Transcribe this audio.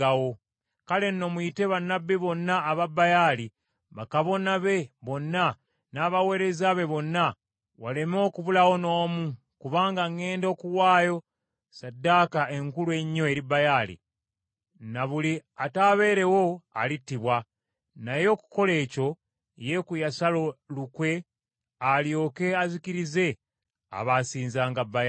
Kale nno muyite bannabbi bonna aba Baali, bakabona be bonna, n’abaweereza be bonna, waleme okubulawo n’omu kubanga ŋŋenda okuwaayo ssaddaaka enkulu ennyo eri Baali, ne buli ataabeerewo alittibwa.” Naye okukola ekyo, Yeeku yasala lukwe alyoke azikirize abaasinzanga Baali.